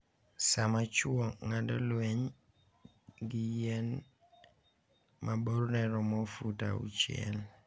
sama chwo ng’ado lweny gi yien ma borne romo fut auchiel.